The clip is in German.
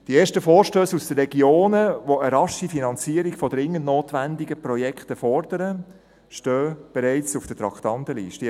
Die ersten Vorstösse aus den Regionen, die eine rasche Finanzierung von dringend notwendigen Projekten fordern, stehen bereits auf der Traktandenliste.